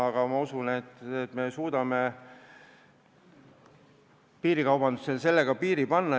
Aga ma usun, et me suudame piirikaubandusele piiri panna.